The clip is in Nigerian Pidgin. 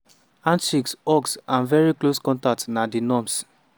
handshakes hugs and very close contact na di norm.